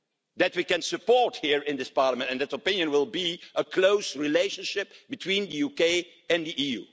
that we can support here in this Parliament, and that opinion will be for a close relationship between the UK and the EU.